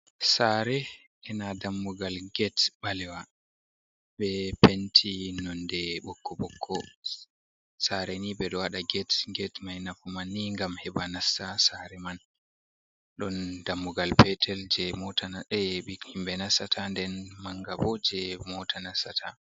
Sare ena dammugal gete ɓalewa be penti nonde bukko bokko sare ni ɓe ɗo waɗa get get mai nafuman ni gam heɓa nasa sare man, ɗon dammugal petel je mothimɓe nasata den mangabo je mota nasata.